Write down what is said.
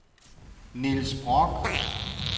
Niels Brock